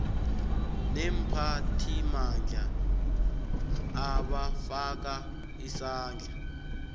neemphathimandla abafaka isandla